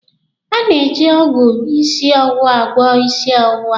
A na-eji ọgwụ ịsị ọwụwa agwọ ịsị ọwụwa.